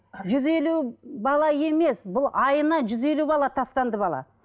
жүз елу бала емес бұл айына жүз елу бала тастанды бала